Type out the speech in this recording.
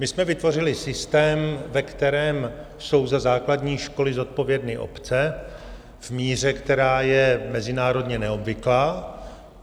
My jsme vytvořili systém, ve kterém jsou za základní školy zodpovědné obce v míře, která je mezinárodně neobvyklá.